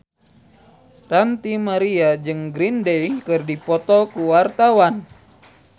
Ranty Maria jeung Green Day keur dipoto ku wartawan